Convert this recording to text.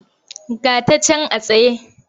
Ga ta can a tsaye.